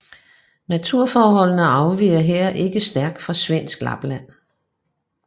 Naturforholdene afviger her ikke stærkt fra svensk Lapland